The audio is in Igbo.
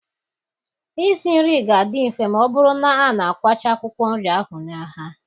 Isi nri ga-adị mfe ma ọ bụrụ na a na-akwacha akwụkwọ nri ahụ n'ahịa.